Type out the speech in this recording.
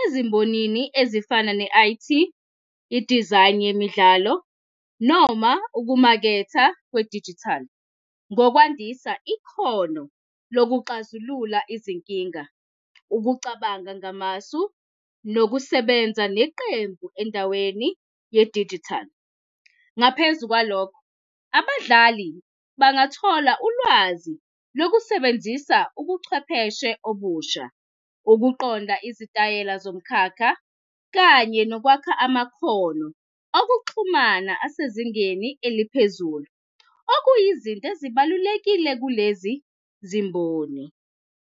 ezimbonini ezifana ne-I_T, idizayini yemidlalo noma ukumaketha kwedijithali ngokwandisa ikhono lokuxazulula izinkinga, ukucabanga ngamasu nokusebenza neqembu endaweni yedijital. Ngaphezu kwalokho, abadlali bangathola ulwazi lokusebenzisa ubuchwepheshe obusha ukuqonda izitayela zomkhakha, kanye nokwakha amakhono okuxhumana asezingeni eliphezulu, okuyizinto ezibalulekile kulezi zimboni.